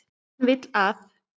Hann vill að.